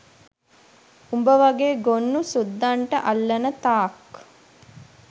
උඹ වගේ ගොන්නු සුද්දන්ට අල්ලන තාක්